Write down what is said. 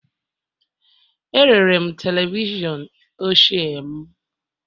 Erere m televishọn ochie m